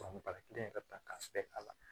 baga kelen ka taa k'a se a la